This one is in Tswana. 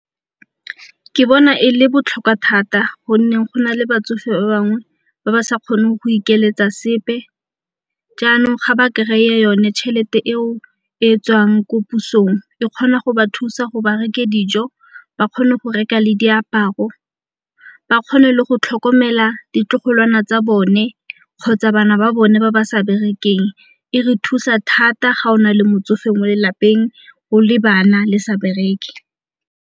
Ke bona e le botlhokwa thata gonne go na le batsofe ba bangwe ba ba sa kgoneng go ikeletsa sepe, jaanong ga ba kry-e yone tšhelete eo e tswang ko pusong e kgona go ba thusa go ba reke dijo, ba kgone go reka le diaparo, ba kgone le go tlhokomela ditlogolwana tsa bone kgotsa bana ba bone ba ba sa berekeng. E re thusa thata ga o na le motsofe mo lelapeng, go le bana le sa bereke.